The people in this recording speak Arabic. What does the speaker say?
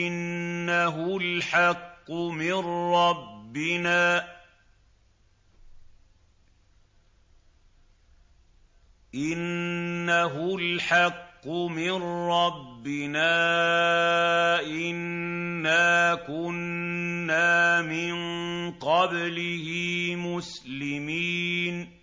إِنَّهُ الْحَقُّ مِن رَّبِّنَا إِنَّا كُنَّا مِن قَبْلِهِ مُسْلِمِينَ